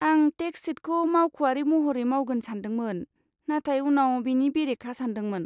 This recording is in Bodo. आं टेक्स शिटखौ मावख'आरि महरै मावगोन सान्दोंमोन, नाथाय उनाव बेनि बेरेखा सान्दोंमोन।